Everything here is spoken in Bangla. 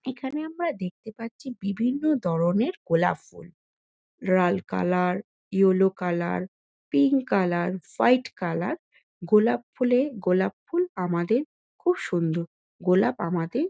এখানে আমরা দেখতে পাচ্ছি বিভিন্ন ধরণের গোলাপ ফুল। লাল colour yellow colour pink colour white colour গোলাপ ফুলে গোলাপ ফুল আমাদের খুব সুন্দর। গোলাপ আমাদের --